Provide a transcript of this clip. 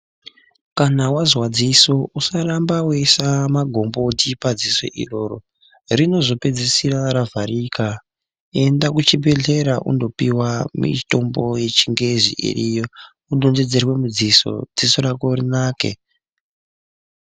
Kana wazwa dziso usaramba weiisa magomboti padziso iroro rinozopedzisira ravharika, enda kuchibhedhera unopiwa mitombo yechingezi iriyo wodontedzerwe mudziso, dziso rako rinake.